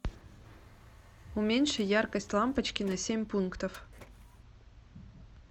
уменьши яркость лампочки на семь пунктов